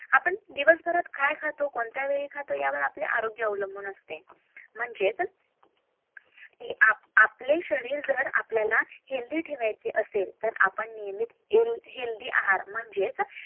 आपण दिवसभर्‍यात काय खातो कोणत्या वेळी खालो ते आरोग्य अकलांबून असते म्हणजेच आपले शरीर जर आपल्याला हेल्दि ठेवायचे असेल हेल्दि आहार